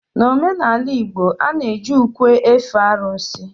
n'omenala igbo, a na-eji ukwe efe arụsị